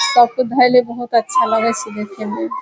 सब के धइले बहुत अच्छा लगय छै देखे मे।